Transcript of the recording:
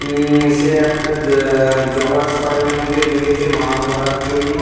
উম সে একটা অ্যা-অ্যা জলাশয়ের মধ্যে নেবেছে মাছ ধরার জন্য।